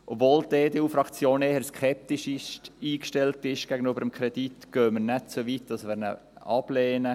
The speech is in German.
Obwohl die EDU-Fraktion dem Kredit gegenüber eher kritisch eingestellt ist, gehen wir nicht so weit, dass wir ihn ablehnen.